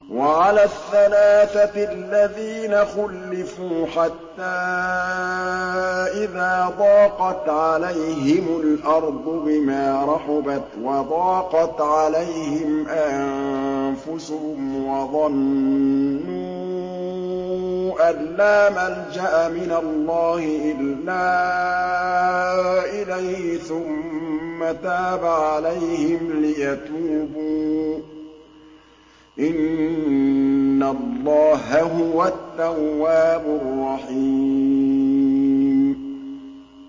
وَعَلَى الثَّلَاثَةِ الَّذِينَ خُلِّفُوا حَتَّىٰ إِذَا ضَاقَتْ عَلَيْهِمُ الْأَرْضُ بِمَا رَحُبَتْ وَضَاقَتْ عَلَيْهِمْ أَنفُسُهُمْ وَظَنُّوا أَن لَّا مَلْجَأَ مِنَ اللَّهِ إِلَّا إِلَيْهِ ثُمَّ تَابَ عَلَيْهِمْ لِيَتُوبُوا ۚ إِنَّ اللَّهَ هُوَ التَّوَّابُ الرَّحِيمُ